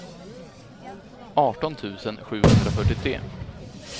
arton tusen sjuhundrafyrtiotre